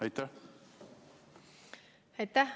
Aitäh!